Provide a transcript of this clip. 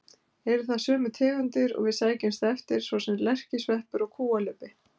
Eru það sömu tegundir og við sækjumst eftir, svo sem lerkisveppur og kúalubbi.